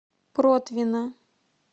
протвино